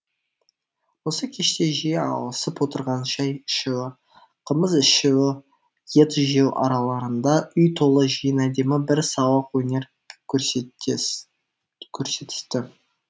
осы кеште жиі ауысып отырған шай ішу қымыз ішу ет жеу араларында үй толы жиын әдемі бір сауық өнер көрсетісті